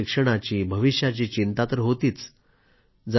मुलांच्या शिक्षणाची भविष्याची चिंता तर होतीच